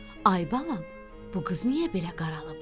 Ay balam, bu qız niyə belə qaralıb?